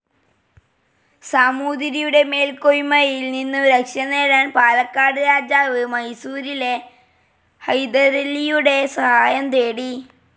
സമൂതിരിയുടെ മേൽക്കൊയ്മയിൽ നിന്നും രക്ഷ നേടാൻ പാലക്കാട്‌ രാജാവ്‌ മൈസൂരിലെ ഹൈദരലിയുടെ സഹായം തേടി.